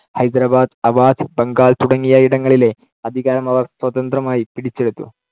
ഹൈദരബാദ്, അവാധ്, ബംഗാൾ തുടങ്ങിയ ഇടങ്ങളിലെ അധികാരം അവർ സ്വതന്ത്രമായി പിടിച്ചെടുത്തു.